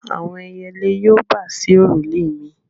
Àwọn ẹyẹlé yóò bà sí òrùlé mi.